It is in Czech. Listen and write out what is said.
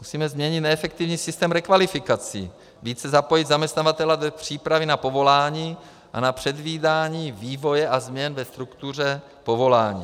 Musíme změnit neefektivní systém rekvalifikací, více zapojit zaměstnavatele na přípravy na povolání a na předvídání vývoje a změn ve struktuře povolání.